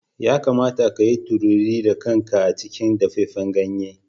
Ya kamata ka yi tururi da kanka a cikin dafaffen ganye.